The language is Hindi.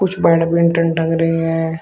कुछ बैडमिंटन टंग रही हैं।